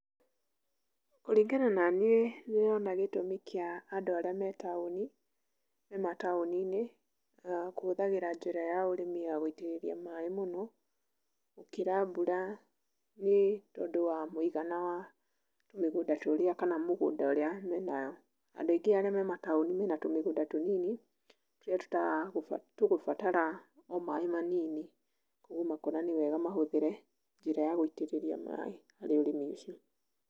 Kũringana na niĩ, nĩwona gĩtũmi kĩa andũ arĩa me taũni, mataũni-inĩ kũhũthagĩra njĩra ya ũrĩmi ya gũitĩrĩria maĩĩ mũno, gũkĩra mbura nĩ tondũ wa mũigana wa tũmĩgũnda tũrĩa kana mĩgũnda ũrĩa menayo. andũ aingĩ arĩa me mataũni mena tũmĩgũnda tũnini, tũrĩa tũgũbatara o maĩĩ manini, koguo makona nĩ wega mahũthĩre njĩra ya gũitĩrĩria maaĩ harĩ ũrĩmi ũcio.